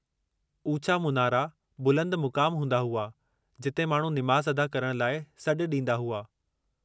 उचा मुनारा बुलंद मुकाम हूंदा हुआ जिते माण्हू निमाज़ अदा करण लाइ सॾु ॾींदा हुआ।